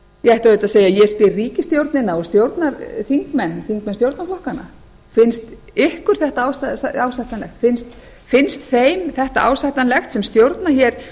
ég ætti auðvitað að segja ég spyr ríkisstjórnina og stjórnarþingmenn þingmenn stjórnarflokkanna finnst ykkur þetta ásættanlegt finnst þeim þetta ásættanlegt sem stjórna hér